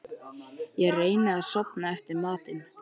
Ég reyni að sofna eftir matinn.